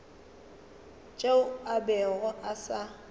tšeo a bego a sa